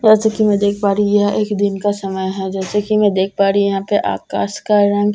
जैसे कि‍ मैं देख पा रही हूं यह एक दिन का समय है जैसे कि‍ मैं देख पा रही हूं यहां पे आकाश का रंग हल्‍का प--